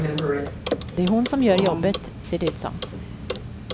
Det är hon som gör jobbet, ser det ut som.